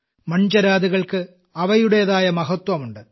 മൺചിരാതുകൾക്ക് അവയുടേതായ മഹത്വം ഉണ്ട്